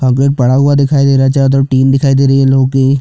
कागज पड़ा हुआ दिखाई दे रहा है चारों तरफ टिन दिखाई दे रही है लोहे की --